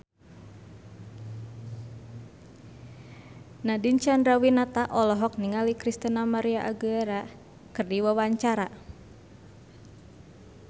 Nadine Chandrawinata olohok ningali Christina María Aguilera keur diwawancara